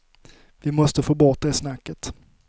Vi måste få bort det snacket.